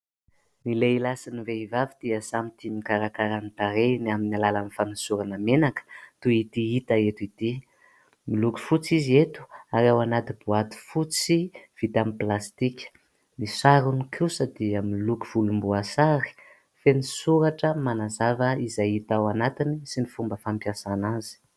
Ny lehilahy sy ny vehivavy dia samy tia mikarakara ny tarehiny amin'ny alalan'ny fanosorana menaka toy ity hita eto ity, miloko fotsy izy eto ary ao anaty "boîte" fotsy vita amin'ny "plastique", ny sarony kosa dia miloko volom-boasary feno soratra manazava izay hita ao anatiny sy ny fomba fampiasana azy.